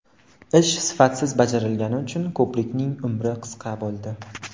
Ish sifatsiz bajarilgani uchun ko‘prikning ‘umri qisqa’ bo‘ldi.